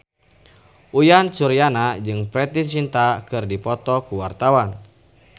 Uyan Suryana jeung Preity Zinta keur dipoto ku wartawan